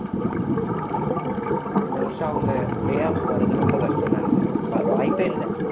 ஆஹ் இந்த வருஷம் அவங்க playoff வர்றது ரொம்ப கஷ்டம்ன்னு நினைக்கிறேன் வாய்ப்பே இல்லை